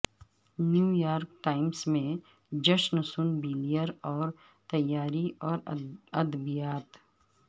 New York Times میں Jayson Blair اور تیاری اور ادبیات